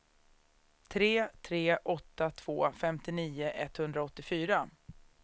tre tre åtta två femtionio etthundraåttiofyra